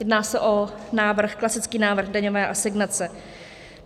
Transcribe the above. Jedná se o návrh, klasický návrh daňové asignace.